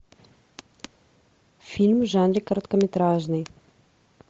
фильм в жанре короткометражный